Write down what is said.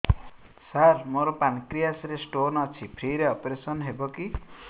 ସାର ମୋର ପାନକ୍ରିଆସ ରେ ସ୍ଟୋନ ଅଛି ଫ୍ରି ରେ ଅପେରସନ ହେବ କି